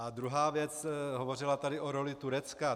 A druhá věc, hovořila tady o roli Turecka.